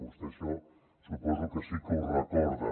vostè això suposo que sí que ho recorda